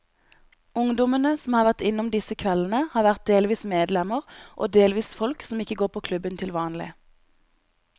Ungdommene som har vært innom disse kveldene, har vært delvis medlemmer og delvis folk som ikke går på klubben til vanlig.